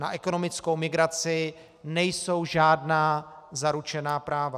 Na ekonomickou migraci nejsou žádná zaručená práva.